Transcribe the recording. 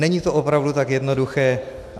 Není to opravdu tak jednoduché.